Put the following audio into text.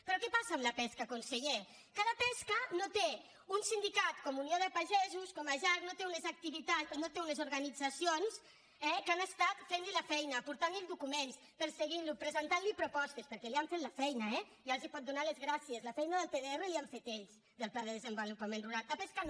però què passa amb la pesca conseller que la pesca no té un sindicat com unió de pagesos com la jarc no té unes organitza·cions eh que han estat fent·li la feina portant·li do·cuments perseguint·lo presentant·li propostes per·què li han fet la feina eh ja els pot donar les gràcies la feina del pdr la hi han fet ells del pla de desenvo·lupament rural a pesca no